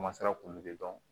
k'olu de dɔn